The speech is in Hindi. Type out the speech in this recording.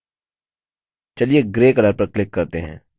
चलिए grey color पर click करते हैं